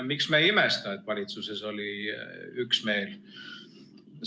Miks me ei imesta, et valitsuses oli üksmeel?